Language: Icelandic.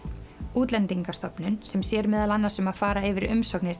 Útlendingastofnun sem sér meðal annars um að fara yfir umsóknir